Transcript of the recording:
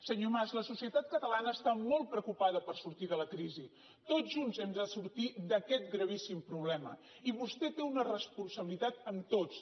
senyor mas la societat catalana està molt preocupada per sortir de la crisi tots junts hem de sortir d’aquest gravíssim problema i vostè té una responsabilitat amb tots